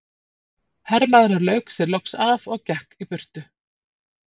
Hermaðurinn lauk sér loks af og gekk í burtu.